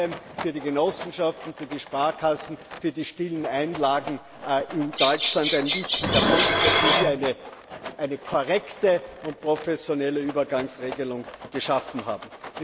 Das ist vor allem für die Genossenschaften, für die Sparkassen, für die stillen Einlagen in Deutschland ein wichtiger Punkt, dass wir hier eine korrekte und professionelle Übergangsregelung geschaffen haben.